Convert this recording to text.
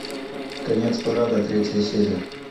конец парада третья серия